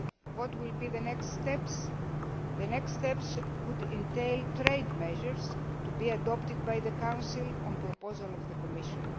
What will the next steps be? The next steps could entail trade measures to be adopted by the Council on a proposal from the Commission.